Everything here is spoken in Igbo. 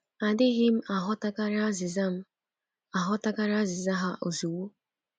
Adịghị m aghọtakarị azịza m aghọtakarị azịza ha ozugbo.